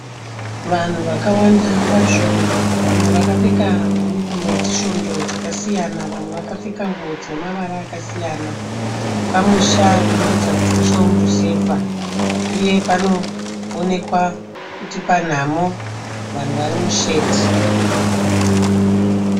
Vanhu vakawanda kwazvo. Vamwe vakapfeka mayunifomu edzisvondo dzakasiyana, vamwe vakapfeka nguwo dzine mavara akasiyana. Pamusha panoratidza kuti musha womuruzevha uye panoonekwa kuti panhamo, vanhu vari mushedhi